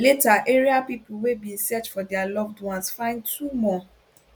later area pipo wey bin dey search for dia loved ones find two more